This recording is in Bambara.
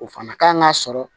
O fana kan k'a sɔrɔ